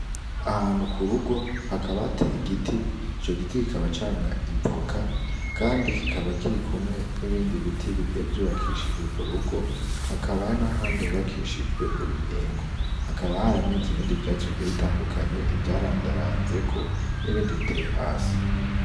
Ahantu ku rugo hakaba ahateye giti ico giti kikaba camwa ivuka, kandi kikaba kiri kumwe n'ibindi biti bigiye vyubakishije urwo rugo hakaba ari na handi hubakishijwe urubingo hakaba hari ameze ibindi vyatsu bigira bitandukanye ivyarandaranzeko n'ibindi biteye hasi.